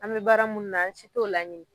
An be baara mun na, an si t'o laɲini.